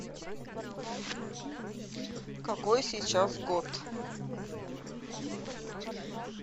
какой сейчас год